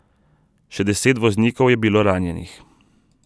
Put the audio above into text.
Še deset voznikov je bilo ranjenih.